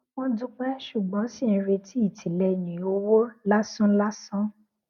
wọn dúpẹ ṣùgbọn ṣì ń retí ìtìlẹyìn owó lásán lásán